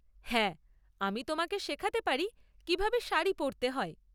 হ্যাঁ, আমি তোমাকে শেখাতে পারি কিভাবে শাড়ি পরতে হয়।